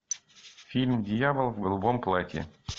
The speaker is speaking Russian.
фильм дьявол в голубом платье